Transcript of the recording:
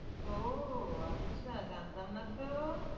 ও আচ্ছা, জানতাম নাতো।